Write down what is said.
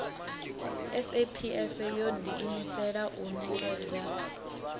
saps yo ḓiimisela u ṅekedza